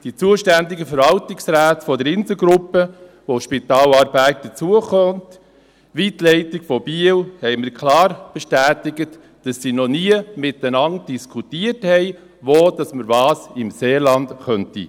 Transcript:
Die zuständigen Verwaltungsräte der Inselgruppe, zu der das Spital Aarberg dazugehört, ebenso wie die Leitung von Biel, haben mir klar bestätigt, dass sie noch nie miteinander diskutiert haben, wo man im Seeland was anbieten könnte.